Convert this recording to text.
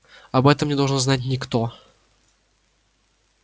об этом не должен знать никто